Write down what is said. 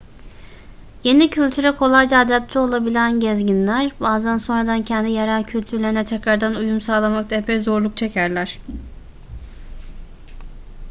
yeni kültüre kolayca adapte olabilen gezginler bazen sonradan kendi yerel kültürlerine tekrardan uyum sağlamakta epey zorluk çekerler